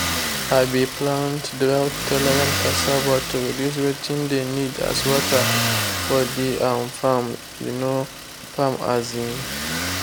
i be plant drought-tolerant cassava to reduce wetin de need as water for de um farm. um farm. um